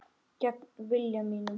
Gegn vilja mínum.